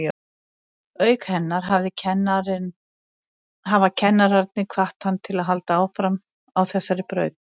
Auk hennar hafa kennararnir hvatt hann til að halda áfram á þessari braut.